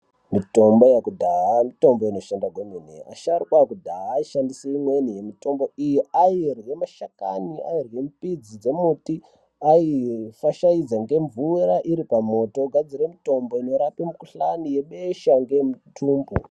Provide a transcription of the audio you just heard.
Mutombo yekudhaa mutombo inoshanda kwemene. Asharuka vekudhaya aishandise imweni yemutombo iyi. Airye mashakani, airye mbidzi dzemuti. Aifashaidza ngemvura iri pamoto ogadzire mutombo inorapre mukuhlani yebesha ngeyemutumbu.